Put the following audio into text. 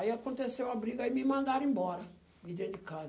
Aí aconteceu a briga e me mandaram embora de dentro de casa.